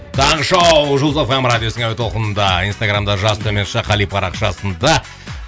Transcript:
таңғы шоу жұлдыз эф эм радиосының әуе толқынында инстаграмда жас төмен сызықша қали парақшасында